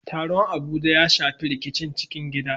Taron Abuja ya shafi rikicin cikin gida